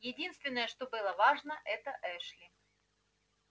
единственное что было важно это эшли